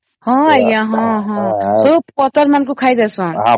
ହଁ ଆଂଜ୍ଞା ହଁ ହଁ ସବୁ ପତ୍ର ମାନଂକୁ ଖାଇ ଦେଉସନ